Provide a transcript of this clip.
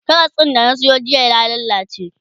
Karas din da na Sayo jiya ya lallace